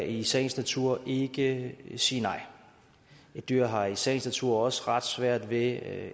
i sagens natur ikke sige nej et dyr har i sagens natur også ret svært ved